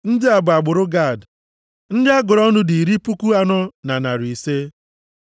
Ndị a bụ agbụrụ Gad. Ndị a gụrụ ọnụ dị iri puku anọ na narị ise (40,500).